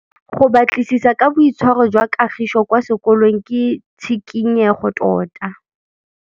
Go batlisisa ka boitshwaro jwa Kagiso kwa sekolong ke tshikinyêgô tota.